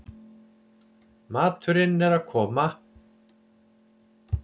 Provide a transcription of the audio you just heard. Maturinn er að koma